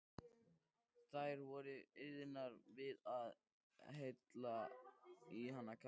Þær voru iðnar við að hella í hann kaffi.